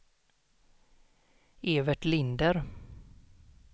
Evert Linder